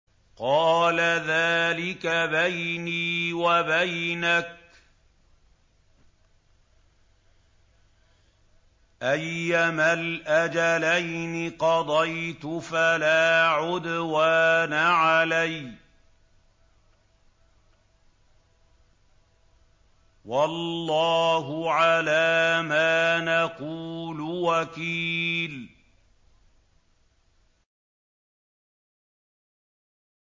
قَالَ ذَٰلِكَ بَيْنِي وَبَيْنَكَ ۖ أَيَّمَا الْأَجَلَيْنِ قَضَيْتُ فَلَا عُدْوَانَ عَلَيَّ ۖ وَاللَّهُ عَلَىٰ مَا نَقُولُ وَكِيلٌ